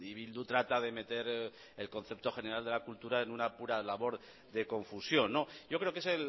bildu trata de meter el concepto general de la cultura en una pura labor de confusión yo creo que es